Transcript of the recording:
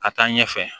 Ka taa ɲɛfɛ